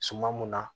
Suman mun na